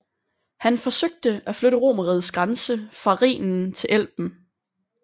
Han forsøgte at flytte Romerrigets grænse fra Rhinen til Elben